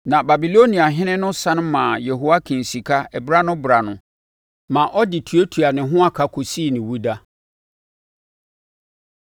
Na Babiloniahene no sane maa Yehoiakin sika berɛ ano berɛ ano, ma ɔde tuatua ne ho aka kɔsii ne owuda.